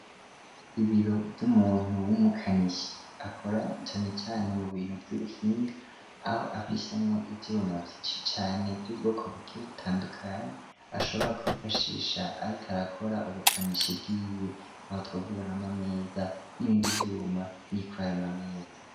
Ibiro vy'umuntu w'umukanishi akora canecane mu bintu vy'uguhinga aho afisemwo ivyuma vyinshi cane vy'ubwoko bugihe butandukanyi ashobora kwifashisha, ariko arakora ubukanishi bwiwe aho twovuga ahama ameza n'ibindi vyuma bikorayemwa ameza.